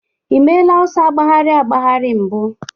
Ị meela ọsọ agbagharị agbagharị mbụ?